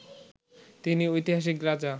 তিনি ঐতিহাসিক রাজা